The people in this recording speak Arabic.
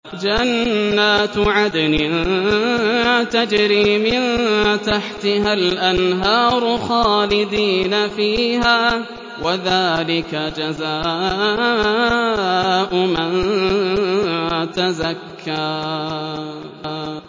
جَنَّاتُ عَدْنٍ تَجْرِي مِن تَحْتِهَا الْأَنْهَارُ خَالِدِينَ فِيهَا ۚ وَذَٰلِكَ جَزَاءُ مَن تَزَكَّىٰ